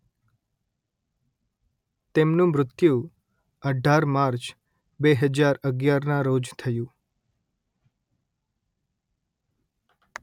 તેમનું મૃત્યુ અઢાર માર્ચ બે હજાર અગિયારનાં રોજ થયું